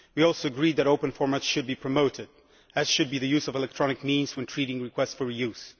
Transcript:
We also agree that open formats should be promoted, as should the use of electronic means when processing requests for re use.